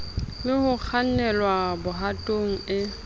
le ho kgannelwa bohatong e